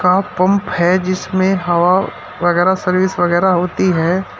का पंप है जिसमें हवा वगैरा सर्विस वगैरा होती है।